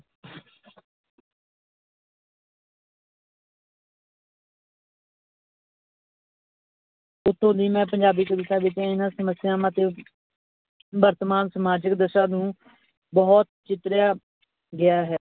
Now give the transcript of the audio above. ਇੱਥੋਂ ਦੀ ਮੈਂ ਪੰਜਾਬੀ ਕਵਿਤਾ ਵਿੱਚ ਇਹਨਾਂ ਸਮੱਸਿਆਵਾਂ ਤੇ ਵਰਤਮਾਨ ਸਮਾਜਿਕ ਦਸ਼ਾ ਨੂੰ ਬਹੁਤ ਚਿਤਰਿਆ ਗਿਆ ਹੈ।